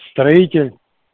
строитель